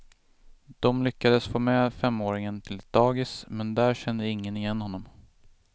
De lyckades få med femåringen till ett dagis, men där kände ingen igen honom.